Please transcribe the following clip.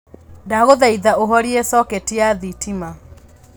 ndaguthaitha uhorie coketi ya thitima